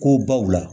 Ko baw la